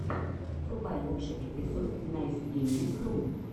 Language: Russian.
врубай лучший эпизод найсгейминг ру